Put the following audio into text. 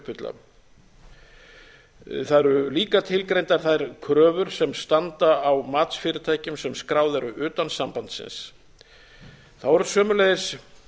uppfylla það eru líka tilgreindar þær kröfur sem standa á matsfyrirtækjum sem skráð eru utan sambandsins þá eru sömuleiðis